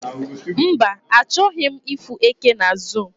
mba, achoghi m ifu eke na zoo